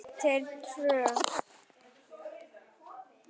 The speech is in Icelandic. Þú átt þér tröð.